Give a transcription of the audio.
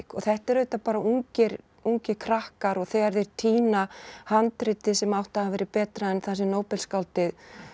þetta eru auðvitað bara ungir ungir krakkar og þegar þeir týna handriti sem átti að hafa verið betra en það sem Nóbelsskáldið